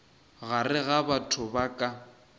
gare ga batho ba ka